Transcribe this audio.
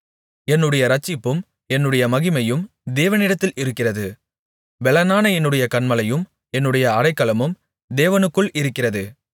என்னுடைய இரட்சிப்பும் என்னுடைய மகிமையும் தேவனிடத்தில் இருக்கிறது பெலனான என்னுடைய கன்மலையும் என்னுடைய அடைக்கலமும் தேவனுக்குள் இருக்கிறது